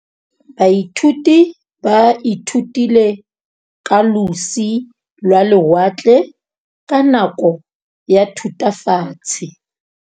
Baithuti ba ithutile ka losi lwa lewatle ka nako ya Thutafatshe.